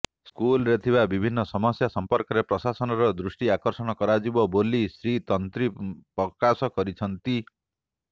ସ୍କୁଲରେ ଥିବା ବିଭିନ୍ନ ସମସ୍ୟା ସମ୍ପର୍କରେ ପ୍ରଶାସନର ଦୃଷ୍ଟି ଆକର୍ଷଣ କରାଯିବ ବୋଲି ଶ୍ରୀ ତନ୍ତୀ ପ୍ରକାଶ କରିଛନ୍ତି